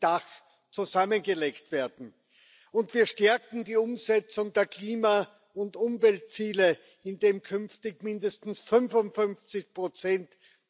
Dach zusammengelegt werden, und wir stärken die Umsetzung der Klima und Umweltziele, indem künftig mindestens 55